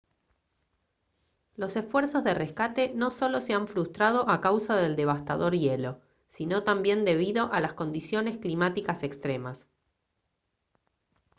los esfuerzos de rescate no solo se han frustrado a causa del devastador hielo sino también debido a las condiciones climáticas extremas